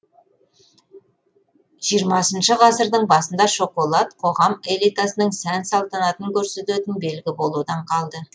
жиырмасыншы ғасырдың басында шоколад қоғам элитасының сән салтанатын көрсететін белгі болудан қалды